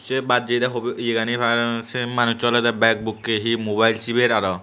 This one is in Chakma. say but jeya hobi eya gani say manus olodey bak bukkey he mobile siber aro.